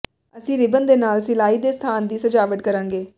ਅਸੀਂ ਰਿਬਨ ਦੇ ਨਾਲ ਸਿਲਾਈ ਦੇ ਸਥਾਨ ਦੀ ਸਜਾਵਟ ਕਰਾਂਗੇ